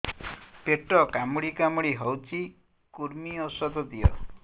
ପେଟ କାମୁଡି କାମୁଡି ହଉଚି କୂର୍ମୀ ଔଷଧ ଦିଅ